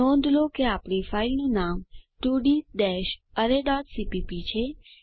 નોંધ લો કે આપણી ફાઈલ નું નામ 2d arrayસીપીપી છે